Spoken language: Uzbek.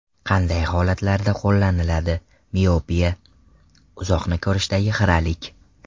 Qanday holatlarda qo‘llaniladi Miopiya: uzoqni ko‘rishdagi xiralik.